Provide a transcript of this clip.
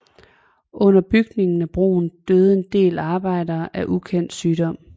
Under bygningen af broen døde en del arbejdere af en ukendt sygdom